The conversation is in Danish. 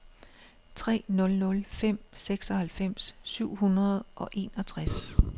tre nul nul fem seksoghalvfems syv hundrede og enogtres